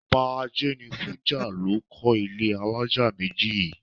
Ọba Ajénifújà ló kọ́ ilé alájà méjì yìí.